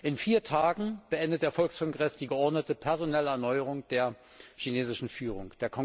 In vier Tagen beendet der Volkskongress die geordnete personelle Erneuerung der chinesischen Führung.